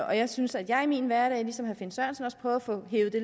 og jeg synes at jeg i min hverdag ligesom herre finn sørensen også prøver at få hevet det